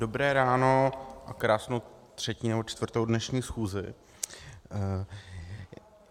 Dobré ráno a krásnou třetí nebo čtvrtou dnešní schůzi.